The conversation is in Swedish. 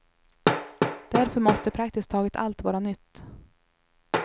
Därför måste praktiskt taget allt vara nytt.